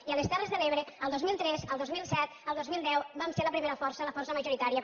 i a les terres de l’ebre el dos mil tres el dos mil set el dos mil deu vam ser la primera força la força majoritària